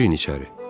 Girin içəri.